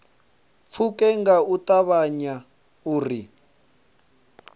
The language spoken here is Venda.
pfuke nga u ṱavhanya uri